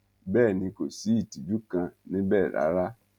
bẹẹ ni kò sí ìtìjú kan níbẹ rárá